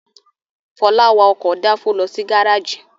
Fọlá wa ọkọ̀ dáńfó lọ sí gárájì.